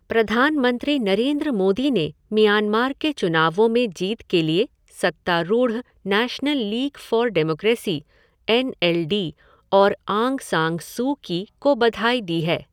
प्रधानमंत्री नरेन्द्र मोदी ने म्यांमार के चुनावों में जीत के लिए सत्तारूढ़ National League for Democracy, N L D और आंग सान सू की को बधाई दी है।